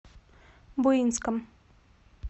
буинском